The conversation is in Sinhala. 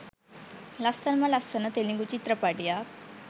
ලස්සනම ලස්සන තෙළිගු චිත්‍රපටියක්